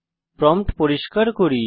prompt পরিষ্কার করি